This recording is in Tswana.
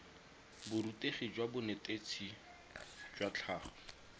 borutegi jwa bonetetshi jwa tlhago